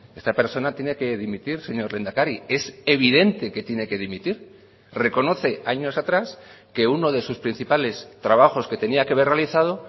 esta persona tiene que dimitir señor lehendakari es evidente que tiene que dimitir reconoce años atrás que uno de sus principales trabajos que tenía que haber realizado